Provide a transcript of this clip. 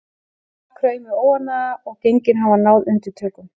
Þar kraumi óánægja og gengin hafi náð undirtökunum.